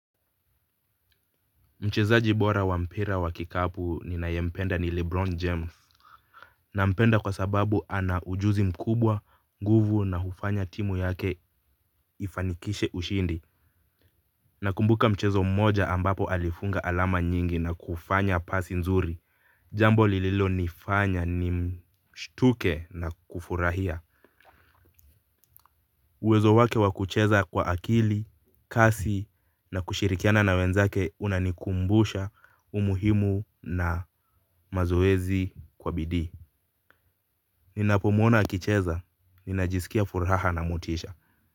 Mchezaji bora wa mpira wa kikapu ninayempenda ni Lebron James. Nampenda kwa sababu ana ujuzi mkubwa, nguvu na hufanya timu yake ifanikishe ushindi. Nakumbuka mchezo mmoja ambapo alifunga alama nyingi na kufanya pasi nzuri jambo lililonifanya nimshtuke na kufurahia uwezo wake wa kucheza kwa akili, kasi na kushirikiana na wenzake unanikumbusha umuhimu na mazoezi kwa bidii. Ninapomuona akicheza ninajisikia furaha na motisha.